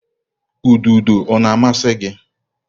Ududo ọ na-amasị gị?